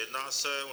Jedná se o